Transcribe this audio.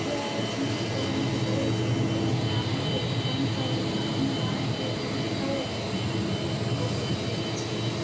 બે જ નહીં પરંતુ દરેક Bank એ નાણાકીય સંસ્થાઓ તથા નાણાકીય સંસ્થાઓ ભોગ બની રહી છે.